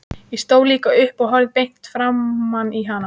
Ég stóð líka upp og horfði beint framan í hana.